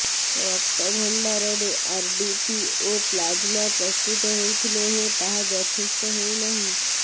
ରକ୍ତଭଣ୍ଡାରରେ RDP ଓ plasma ପ୍ରସ୍ତୁତ ହେଉଥିଲେ ହେଁ ତାହା ଯଥେଷ୍ଟ ହେଉନାହିଁ